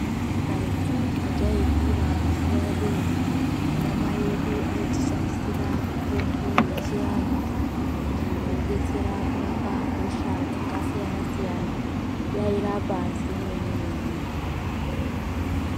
Karetu kwatai kura mazuwa eduwo ana mai edu aitishandisira mutombo yechianhu iyo yaidetsera kurapa hosha dzakasiyana siyana yairapa zvemene mene.